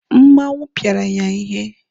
Mmanwụ pịara ya ihe.